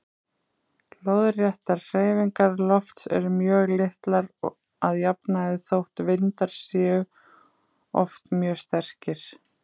Lóðréttar hreyfingar lofts eru mjög litlar að jafnaði þótt vindar séu oft mjög sterkir.